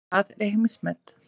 Það er heimsmet.